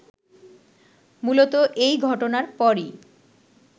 মূলত এ ঘটনার পরই